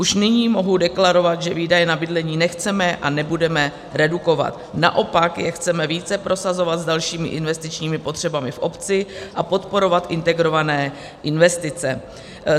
Už nyní mohu deklarovat, že výdaje na bydlení nechceme a nebudeme redukovat, naopak je chceme více prosazovat s dalšími investičními potřebami v obci a podporovat integrované investice.